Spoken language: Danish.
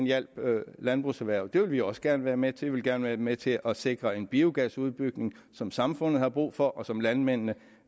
hjælpe landbrugserhvervet det vil vi også gerne være med til vi vil gerne være med til at sikre en biogasudbygning som samfundet har brug for og som landmændene